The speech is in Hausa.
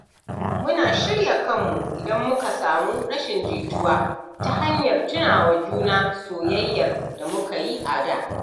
Muna shirya kanmu, idan muka samu rashin jituwa, ta hanyar tuna wa juna soyayyar da muka yi a da.